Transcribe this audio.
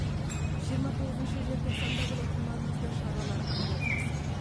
жиырма тоғызыншы желтоқсанда болатын маңызды шаралар аңдатпасы